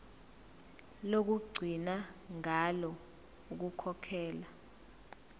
lokugcina ngalo ukukhokhela